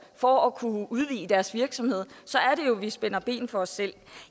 for at kunne udvide deres virksomhed så er det jo at vi spænder ben for os selv